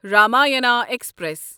Ramayana express